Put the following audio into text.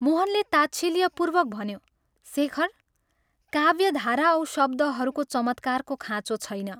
मोहनले ताच्छिल्यपूर्वक भन्यो " शेखर, काव्यधारा औ शब्दहरूको चमत्कारको खाँचो छैन।